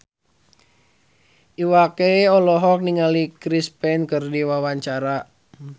Iwa K olohok ningali Chris Pane keur diwawancara